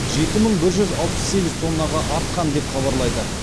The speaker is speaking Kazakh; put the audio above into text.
жеті мың бір жүз алпыс сегіз тоннаға артқан деп хабарлайды